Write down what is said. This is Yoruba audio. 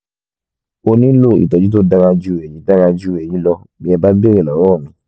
ó nílò ìtọ́jú tó dára ju èyí dára ju èyí lọ bí ẹ bá béèrè lọ́wọ́ mi